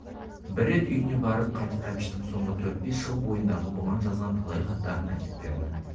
бір рет үйіне барып қайтып әбіштің соңғы төрт-бес жыл бойындағы бұған жазған талай хаттарын әкеп берді